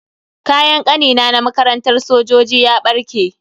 Kayan Kanina na makarantar sojoji ya barke.